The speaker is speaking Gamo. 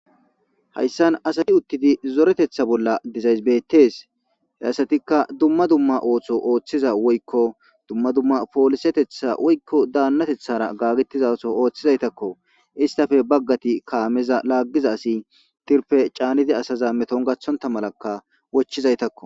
hayssan asati uttidi zoretetha bolla dizaysibettes he asatikka dumma dumma ooththo ooththiza woykko dumma dumma poolisetetha woykko daannatethara gaggettizaso ooththizaytakko istafe baggati kaameza laaggiza asi tirpe caanidi asaza meton gathonta malakka wochizaytakko